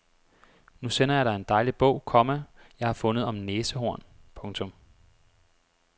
Nu sender jeg dig en dejlig bog, komma jeg har fundet om næsehorn. punktum